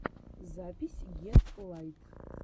запись гетлайт